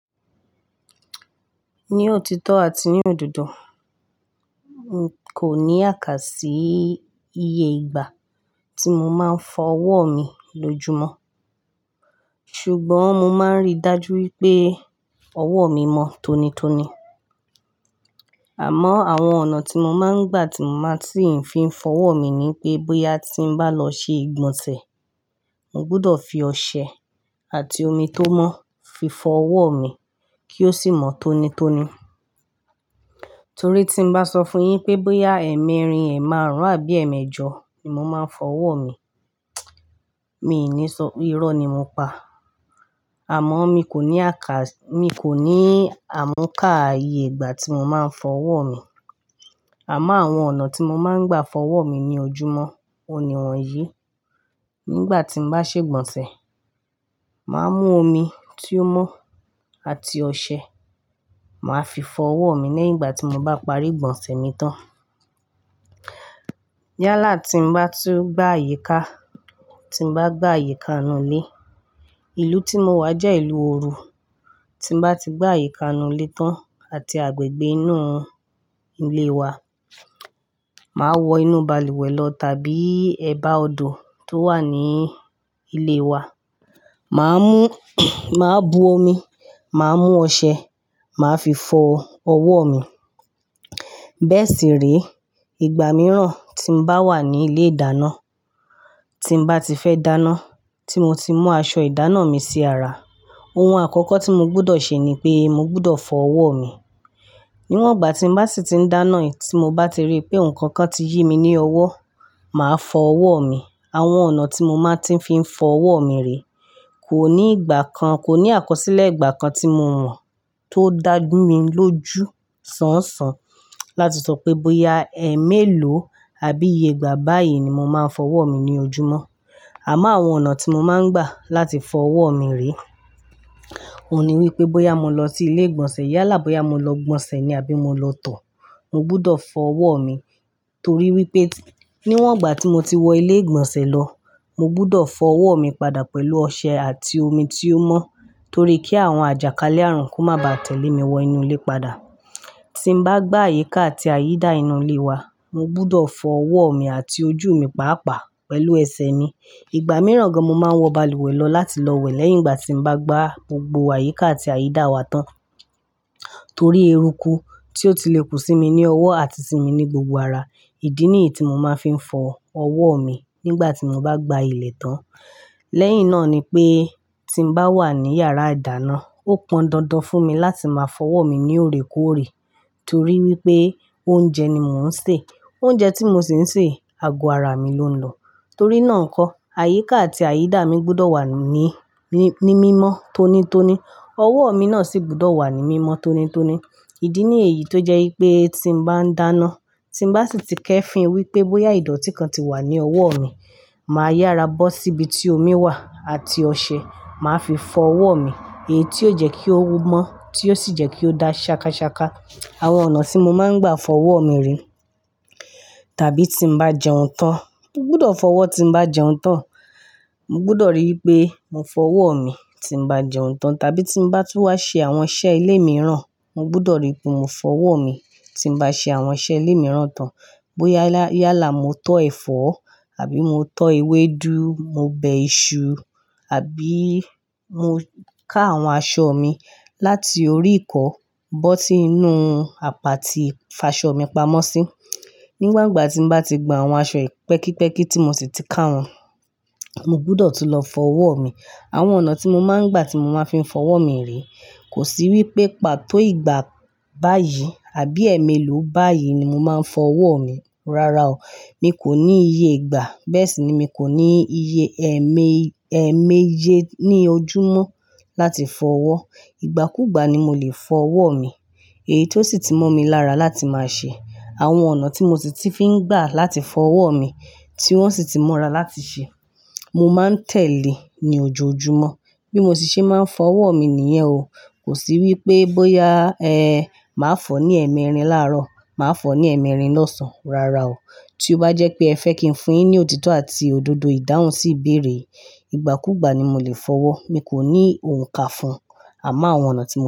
Ní òtítọ́ àti ní òdodo, n kò ní àkàsí iye ìgbà tí mo máa ń fọ ọwọ́ mi lóju mọ́. Ṣùgbọ́n mo máa ń rí dájú wípé ọwọ́ mi mọ́ tónítóní. Àmọ́ àwọn ọ̀nà tí mo máa ń gbà tí mo máa ti ń fi ń fọ ọwọ́ mi ni pé bóyá tí ń bá lọ ṣe ìgbọ̀nsẹ̀, mo gbọdọ̀ fi ọṣẹ àti omi tó mọ́ fi fọ ọwọ́ mi kí ó sì mọ́ tónítóní. Torí tí n bá sọ fún yin pé bóyá ẹ́ẹ̀mẹrin, ẹ́ẹ̀màrún àbí ẹ́ẹ̀mẹ́jọ ni mo máa ń fọ ọwọ́ mi, mi ò ní sọ irọ́ ni mo ń pa. Àmọ́ mi kò ní àkà-- mi kò ní àmúká iye ìgbà tí mo máa ń fọ ọwọ́ mi. Àmọ́ àwọn ọ̀nà tí mo máa ń gbà fọ ọwọ́ mi ní ojú mọ́, òní wọn yìí, nígbà tí n bá ṣe ìgbọ̀nsẹ̀, màá mú omi tí ó mọ́ àti ọṣẹ, màá fi fọ ọwọ́ mi nígbà tí mo bá parí ìgbọ̀nsẹ̀ mi tán. Yálà tí n bá tún gbá àyíká, tí n bá gbá àyíká inú ilé, ìlú tí mo wà jẹ́ ìlú òru. Tí n bá ti gbá àyíká inú ilé tán àti agbègbè inú ilé wa, màá wọ inú balùwẹ̀ lọ tàbí ẹ̀bá odò tó wà ní ilé wa. Màá mú, màá bu omi, màá mú ọṣẹ, màá fi fọ ọwọ́ mi. Bẹ́ẹ̀ sì re, ìgbà mìíràn tí n bá wà ní ilé ìdáná, tí n bá ti fẹ́ dáná, tí mo ti mú aṣọ ìdáná mi sí ara, ohun àkọ́kọ́ tí mo gbọdọ̀ ṣe ni pé mo gbọdọ̀ fọ ọwọ́ mi. Níwọ̀ngbà tí n bá sì ti ń dáná yìí tí mo bá ti rí pé nǹkan kan ti yí mi ní ọwọ́, màá fọ ọwọ́ mi. Àwọn ọ̀nà tí mo máa ti ń fi ń fọ ọwọ́ mi rèé, kò ní ìgbà kan, kò ní àkọsílẹ̀ ìgbà kan tí mo mọ̀ tó dájú mi lójú sánsán láti sọ pé bóyá ẹ́ẹ̀mélòó àbí iye ìgbà báyìí ni mo máa ń fọ ọwọ́ mi ní ojú mọ́. Àmọ́ àwọn ọ̀nà tí mo máa ń gbà láti fọ ọwọ́ mi rèé, òní wípé bóyá mo lọ sí ilé ìgbọ̀nsẹ̀ yálà bóyá mo lọ gbọ̀nsẹ̀ ni àbí mo lọ tọ̀, mo gbudọ̀ fọ ọwọ́ mi. Torí wípé níwọ̀ngbà tí mo ti wọ ilé ìgbọ̀nsẹ̀ lọ, mo gbudọ̀ fọ ọwọ́ mi padà pẹ̀lú ọṣẹ àti omi tí ó mọ́ torí kí àwọn àjàkálẹ̀ ààrùn kó má ba tẹ̀lé mi wọ inú ilé padà. Tí n bá gbá àyíká àti àyídà inú ilé wa, mo gbọdọ̀ fọ ọwọ́ mi àti ojú mi pàápàá pẹ̀lú ẹsẹ̀ mi. Ìgbà mìíràn gan mo máa ń wọ balùwẹ̀ lọ láti lọ wẹ̀ lẹ́yìn ìgbà tí n bá gbá gbogbo àyíká àti àyídà wa tán, torí eruku tí ó ti lè kú sí mi ní ọwọ́ àti sí mi ní gbogbo ara. Ìdí nìyí tí mo máa ń fi ń fọ ọwọ́ mi nígbà tí mo bá gba ilẹ̀ tán. Lẹ́yìn náà ni pé tí n bá wà ní yàrá ìdáná, ó pọn dandan fún mi láti máa fọ ọwọ́ mi ní òrekóòrè torí wípé oúnjẹ ni mò ń sè. Oúnjẹ tí mo sì ń sè, ago ara mi ló ń lọ. Torí náà kọ́, àyíká àti àyídà mi gbọdọ̀ wà ní, ní, ní mímọ́ tónítóní. Ọwọ́ mi náà sì gbọdọ̀ wà ní mímọ́ tónítóní. Ìdí nìyí tó jẹ́ wípé tí n bá ń dáná, tí n bá sì ti kẹ́ fín wípé bóyá ìdọ̀tí kan ti wà ní ọwọ́ mi, màá yára bọ́ síbi tí omi wà àti ọṣẹ, màá fi fọ ọwọ́ mi èyí tí ó jẹ́ kí ó mọ́, tí ó sì jẹ́ kí ó dá ṣàkàṣàkà. Àwọn ọ̀nà tí mo máa ń gbà fọ ọwọ́ mi rèé, tàbí tí n bá jẹun tán, mo gbọdọ̀ fọ ọwọ́ tí n bá jẹun tán. Mo gbọdọ̀ rí pé mo fọ ọwọ́ mi tí n bá jẹun tán tàbí tí n bá tún wá ṣe àwọn iṣẹ́ ilé mìíràn, mo gbọdọ̀ rí pé mo fọ ọwọ́ mi tí n bá ṣe àwọn iṣẹ́ ilé mìíràn tán. Bóyá, yálà mo tọ́ ẹ̀fọ́ àbí mo tọ́ ewédú, mo bẹ iṣu àbí mo ká àwọn aṣọ mi láti orí ìkọ́ bọ́ si inú àpá tí ìfàṣọ mi pamọ́ sí. Níwọ̀ǹgbà tí n bá ti gbon àwọn aṣọ yi pẹ́kíípẹ́kí tí mo sì ti ká wọn, mo gbọdọ̀ tún lọ fọ ọwọ́ mi. Àwọn ọ̀nà tí mo máa ń gbà tí mo máa fi ń fọ ọwọ́ mi rèé, kò sí wípé pàtó ìgbà báyìí àbí ẹ́ẹ̀mélòó báyìí ni mo máa ń fọ ọwọ́ mi. Rárá o, mi kò ní iye ìgbà. Bẹ́ẹ̀ sì ni mi kò ní iye ẹ̀ẹ́mẹ, ẹ̀ẹ́mẹ́jẹ ní ojú mọ́ láti fọ ọwọ́. Ìgbàkúgbà ni mo lè fọ ọwọ́ mi èyí tó sì tí mọ́ mi lára láti máa ṣe. Àwọn ọ̀nà tí mo sì ti fi ń gbà láti fọ ọwọ́ mi tí wọ́n sì ti mọ́ra láti ṣe, mo máa ń tẹ̀lé ní ojoojúmọ́. Bí mo ṣe máa ń fọ ọwọ́ mi nìyẹn o. Kò sí wípé bóyá, ẹ́ẹ́, màá fọ ní ẹ̀ẹ́mẹrin láàárọ̀, màá fọ ní ẹ̀ẹ́mẹrin lọ́sàn-án. Rárá o. Tí ó bá jẹ́ pé ẹ fẹ́ kí n fún yin ní òtítọ́ àti òdodo, ìdáhùn sì béèrè, ìgbàkúgbà ni mo lè fọ ọwọ́. Mi kò ní ohun ká fún. Àmọ́ àwọn ọ̀nà tí mo máa.